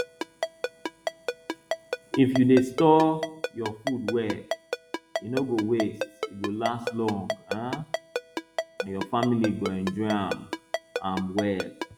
if you dey store your food well e no go waste e go last long um and your family go enjoy am am well